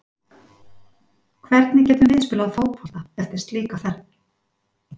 Hvernig getum við spilað fótbolta eftir slíka ferð?